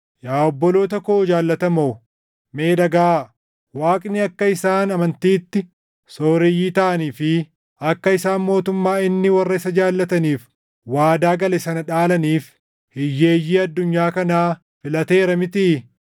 Yaa obboloota koo jaallatamoo, mee dhagaʼaa! Waaqni akka isaan amantiitti sooreyyii taʼanii fi akka isaan mootummaa inni warra isa jaallataniif waadaa gale sana dhaalaniif hiyyeeyyii addunyaa kanaa filateera mitii?